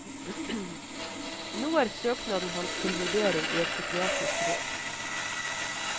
Nå er søknaden hans til vurdering i et psykiatrisk råd.